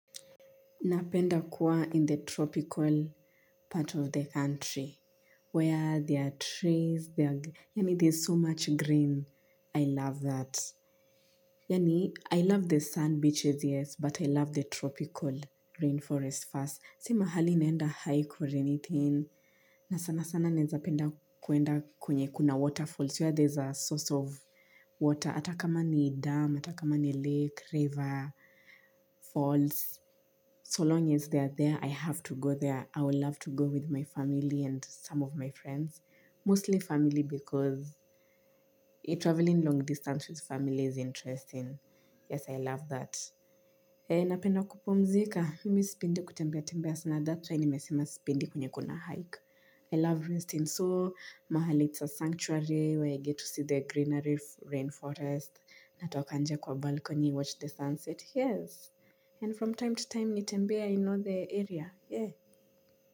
Napenda kuwa in the tropical part of the country where there are trees there. Yaani there's so much green. I love that. Yaani I love the sand beaches yes but I love the tropical rainforest first. Si mahali neenda hike or anything. Na sana sana naezapenda kuenda kwenye kuna waterfalls. It's where there's a source of water. Ata kama ni dam, ata kama ni lake, river, falls. So long as they are there, I have to go there. I would love to go with my family and some of my friends. Mostly family because travelling long distance with family is interesting. Yes, I love that. Napenda kupumzika. Mimi sipendi kutembea tembea sana that's why. Nimesima sipendi kwenye kuna hike. I love Resting. So, mahali it's a Sanctuary where I get to see the Greeneries Rainforest. Natoka nje kwa balcony, watch the sunset. Yes. And from time to time nitembee in all the area, eh.